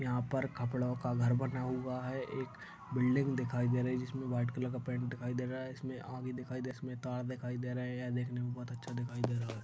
यहां पर खपड़ो का घर बना हुआ है एक बिल्डिंग दिखाई दे रही जिसमें व्हाइट कलर का पैंट दिखाई दे रहा है इसमें आगे दिखाई दे इसमें तार दिखाई दे रहा है देखने में बहुत अच्छा दिखाई दे रहा है।